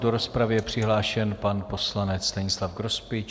Do rozpravy je přihlášen pan poslanec Stanislav Grospič.